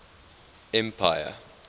empire